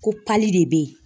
Ko de be yen